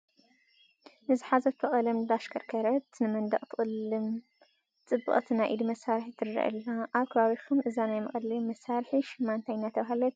ንዝሓዘቶ ቀለም እንዳተሽከርከረት ንመንደቅ ትቕልም ፅብቕቲ ናይ ኢድ መሳርሒ ትርአ ኣላ፡፡ ኣብ ከባቢኹም እዛ ናይ መቐለሚ መሳርሒ ሽማ እንታይ እናተባህለት ትፅዋዕ?